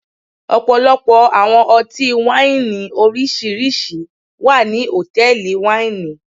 Ọpọlọpọ awọn ọti-waini oriṣiriṣi wa ni hotẹẹli waini